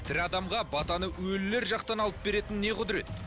тірі адамға батаны өлілер жақтан алып беретін не құдірет